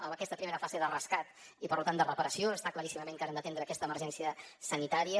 en aquesta primera fase de rescat i per tant de preparació està claríssim que ara hem d’atendre aquesta emergència sanitària